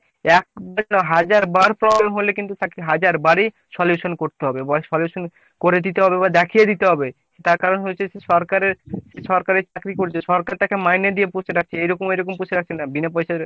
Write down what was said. একবার কেন হাজার বার problem হলে কিন্তু তাকে হাজার বার ই solution করতে হবে বা solution করে দিতে হবে বা দেখিয়ে দিতে হবে তার কারণ হচ্ছে কি সরকারের সরকারের চাকরি করছে সরকার তাকে মাইনে দিয়ে পুষে রাখছে। এরক এরকম পুষে রাখছে না। বিনা পয়সায়